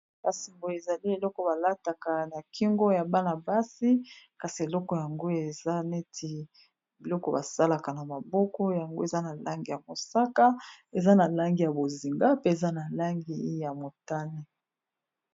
kasi boye ezali eloko balataka na kingo ya bana-basi kasi eloko yango eza neti biloko basalaka na maboko yango eza na langi ya mosaka eza na langi ya bozinga pe eza na langi ya motane.